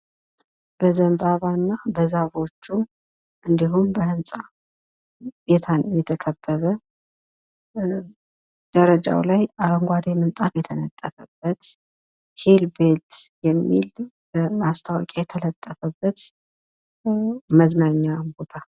በዘንባባና በዛፎቹ እንዲሁም በህንፃ የተከበበ ደረጃው ላይ አረንጓዴ ምንጣፍ የተነጠፈበት ሂል ቤልት የሚል ማስታወቂያ የተለጠፈበት መዝናኛ ቦታ።